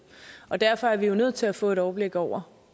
og derfor er vi jo nødt til at få et overblik over